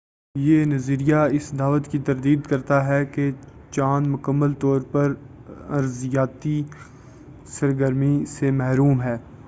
یہ نظریہ اس دعوی کی تردید کرتا ہے کہ چاند مکمل طور پر ارضیاتی سرگرمی سے محروم ہے